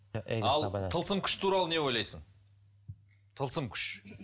ал тылсым күш туралы не ойлайсың тылсым күш